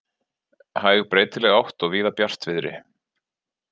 Hæg breytileg átt og víða bjartviðri